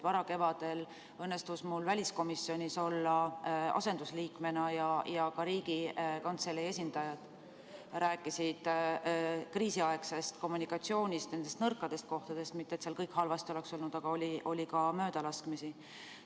Varakevadel õnnestus mul asendusliikmena olla väliskomisjonis ja ka Riigikantselei esindajad rääkisid kriisiaegsest kommunikatsioonist, nendest nõrkadest kohtadest – mitte et seal kõik halvasti oleks olnud, aga esines möödalaskmisi.